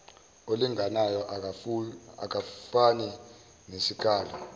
olinganayo akufani nesikalo